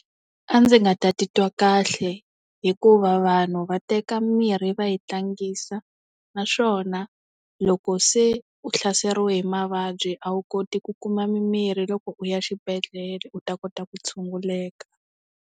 A ndzi nga ta titwa kahle. Hikuva vanhu va teka mirhi va yi tlangisa, naswona, loko se u hlaseriwe hi mavabyi a wu koti ku kuma mimirhi loko u ya xibedhlele u ta kota ku tshunguleka.